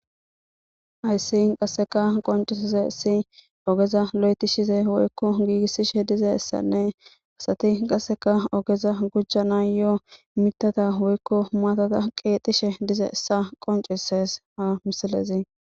Hayssi qasseka qonccissizayssi ogeza loyththishize woykko giigissishe dizayssanne asathi qasseka ogeza gujjanaayyoo miththatha woykko maathatha qeexishe dizayssa qonccisses ha misilezi.